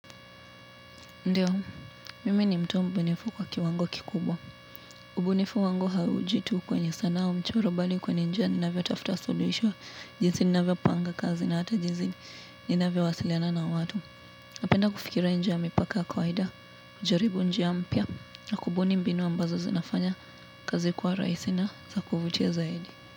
Ndiyo, mimi ni mtu mbunifu kwa kiwango kikubwa. Ubunifu wangu hauji tu kwenye sanaa mchoro bali kwenye njia ninavyo tafuta suluhisho jinsi ninavyopanga kazi na hata jinsi ninavyo wasiliana na watu. Napenda kufikiria inje ya mipaka kawaida, kujaribu njia mpya na kubuni mbinu ambazo zinafanya kazi kwa raisi na zakuvutia zaidi.